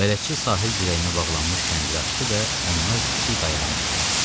Bələdçi sahil dirəyinə bağlanmış kəndiri açdı və onlar kiçik qayığa mindilər.